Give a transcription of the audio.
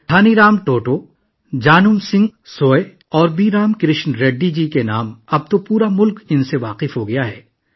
دھنی رام ٹوٹو، جنم سنگھ سویا اور بی رام کرشن ریڈی جی... اب پورا ملک انہیں جان چکا ہے